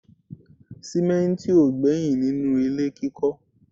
sìmẹ́ntì ò gbẹ́yìn nínú ilé kíkọ́